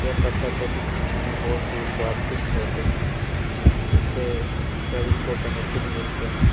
ये पत्ता गोभी खाने में बहुत ही स्वादिष्ट होते हैं इससे शरीर को बेनिफिट मिलते हैं।